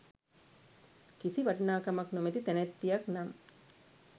කිසි වටිනාකමක් නොමැති තැනැත්තියක් නම්